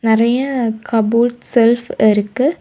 நிறைய cupboard shelf இருக்கு.